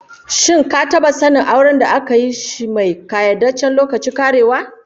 Shin ka taba sanin auren da aka yi shi mai kayyadajjen lokacin karewa?